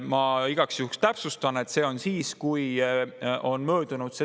Ma igaks juhuks täpsustan, et see on siis, kui tähtaeg on möödunud.